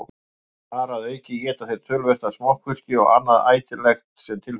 Þar að auki éta þeir töluvert af smokkfiski og annað ætilegt sem til fellur.